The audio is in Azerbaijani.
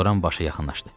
Loran başa yaxınlaşdı.